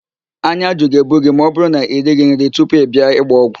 Ányá ajụ ga-ebu gị ma ọbụrụ na irighi nri tupu ị bịa ịgba ọgwụ